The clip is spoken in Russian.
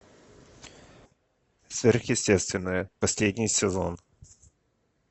сверхъестественное последний сезон